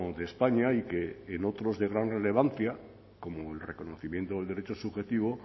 de españa y que en otros de gran relevancia como el reconocimiento del derecho subjetivo